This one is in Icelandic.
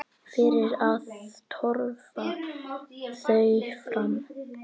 Fyrir að töfra þau fram.